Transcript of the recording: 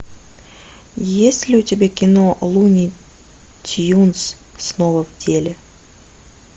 есть ли у тебя кино луни тюнз снова в деле